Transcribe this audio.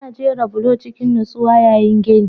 Ana jera bulo cikin nutsuwa yayin gini